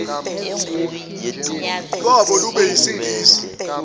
lwazo lube yisingisi